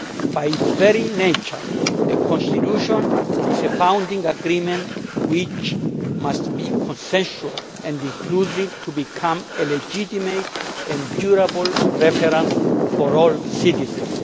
By its very nature a constitution is a founding agreement which must be consensual and inclusive to become a legitimate and durable reference for all citizens.